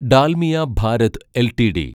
Dalmia Bharat LTD